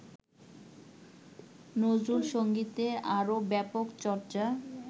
নজরুলসঙ্গীতের আরো ব্যাপক চর্চ্চা